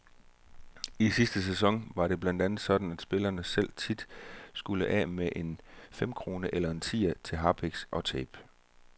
I sidste sæson var det blandt andet sådan, at spillerne selv tit skulle af med en femkrone eller en tier til harpiks og tape.